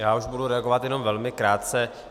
Já už budu reagovat jenom velmi krátce.